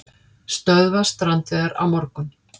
Stöðva strandveiðar á morgun